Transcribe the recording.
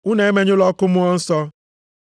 Unu emenyụla ọkụ Mmụọ Nsọ.